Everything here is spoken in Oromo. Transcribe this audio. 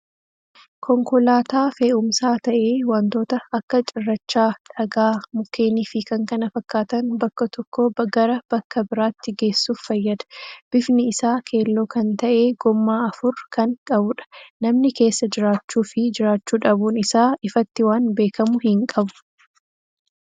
Konkolaataa fe'uumsaa ta'ee wantoota akka cirrachaa, dhagaa, mukkeenii fii k.k.f bakka tokko gara bakka biraatti geessuf fayyada. Bifni isaa keelloo kan ta'ee gommaa afur kan qabuudha. Namni keessa jiraachuu fii jiraachuu dhabuun isaa ifatti waan beekkamu hin qabu.